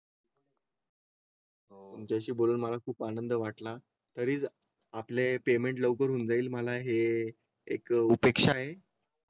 ज्याशी बोलून मला खूप आनंद वाटला तरी आपले पेमेंट लवकर होऊन जाईल. मला हे एक उपेक्षा आहे.